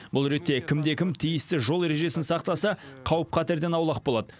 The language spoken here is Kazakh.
бұл ретте кімде кім тиісті жол ережесін сақтаса қауіп қатерден аулақ болады